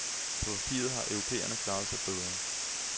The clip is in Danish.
På papiret har europæerne klaret sig bedre.